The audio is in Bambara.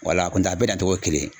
Wala, kuntɛ a bɛ na cogo ye kelen ye